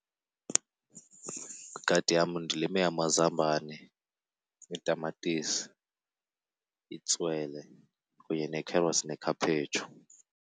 Igadi yam ndilime amazambane, iitamatisi, itswele kunye nee-carrots nekhaphetshu.